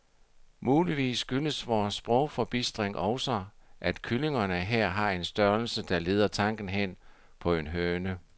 Muligvis skyldes vor sprogforbistring også, at kyllingerne her har en størrelse, der leder tanken hen på en høne.